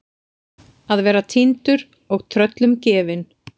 Að vera týndur og tröllum gefin